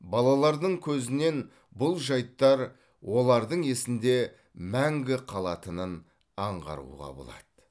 балалардың көзінен бұл жайттар олардың есінде мәңгі қалатынын аңғаруға болады